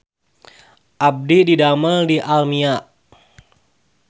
Abdi didamel di Almia